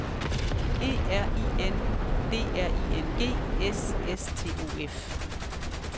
E R I N D R I N G S S T O F